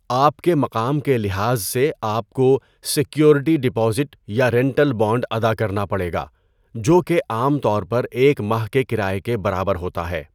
آپ کے مقام کے لحاظ سے آپ کو سیکیورٹی ڈپازٹ یا رینٹل بانڈ ادا کرنا پڑے گا، جو کہ عام طور پر ایک ماہ کے کرایے کے برابر ہوتا ہے۔